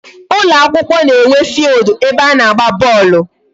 Ụlọ akwụkwọ na-enwe field ebe a na-agba bọọlụ.